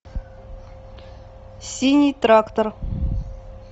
синий трактор